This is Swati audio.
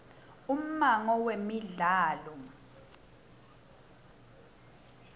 ummango wemidlalo